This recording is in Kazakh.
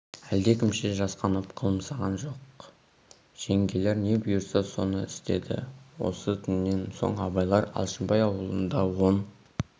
әлдекімше жасқанып қылымсыған жоқ жеңгелер не бұйырса соны істеді осы түннен сөн абайлар алшынбай аулында он